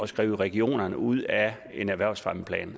skrive regionerne ud af en erhvervsfremmeplan